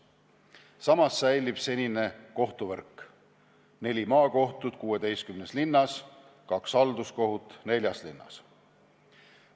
Samas säilib senine kohtuvõrk: neli maakohut 16 linnas, kaks halduskohut neljas linnas.